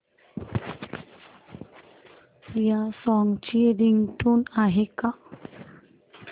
या सॉन्ग ची रिंगटोन आहे का